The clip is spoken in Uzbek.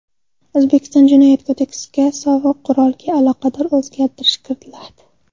O‘zbekiston Jinoyat kodeksiga sovuq qurolga aloqador o‘zgartish kiritiladi.